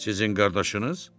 Sizin qardaşınız?